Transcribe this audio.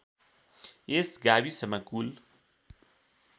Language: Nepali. यस गाविसमा कुल